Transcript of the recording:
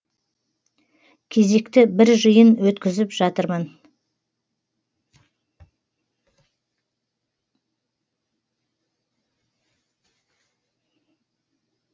кезекті бір жиын өткізіп жатырмын